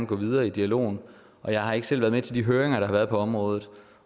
gå videre i dialogen jeg har ikke selv været med til de høringer der har været på området